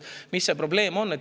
Mis see probleem on?